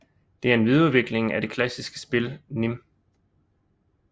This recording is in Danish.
Det er videreudvikling af det klassiske spil nim